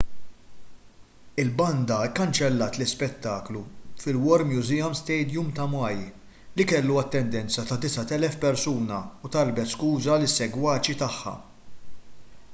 il-banda kkanċellat l-ispettaklu fil-war memorial stadium ta' maui li kellu jkollu attendenza ta' 9,000 persuna u talbet skuża lis-segwaċi tagħha